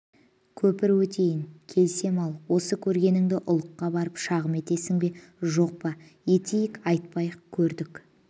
көпір өтейін келсем ал осы көргеніңді ұлыққа барып шағым етесің бе жоқ па етпейік айтпайық көрдік